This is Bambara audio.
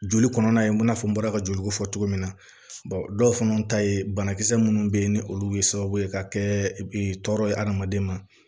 Joli kɔnɔna in na fɔ n bɔra ka joli bɔ fɔ cogo min na dɔw fana ta ye banakisɛ minnu bɛ yen ni olu ye sababu ye ka kɛ tɔɔrɔ ye adamaden ma